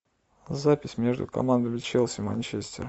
запись между командами челси манчестер